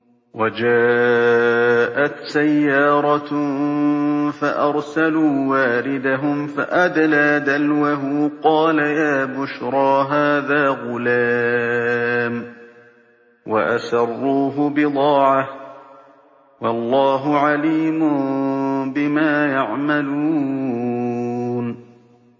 وَجَاءَتْ سَيَّارَةٌ فَأَرْسَلُوا وَارِدَهُمْ فَأَدْلَىٰ دَلْوَهُ ۖ قَالَ يَا بُشْرَىٰ هَٰذَا غُلَامٌ ۚ وَأَسَرُّوهُ بِضَاعَةً ۚ وَاللَّهُ عَلِيمٌ بِمَا يَعْمَلُونَ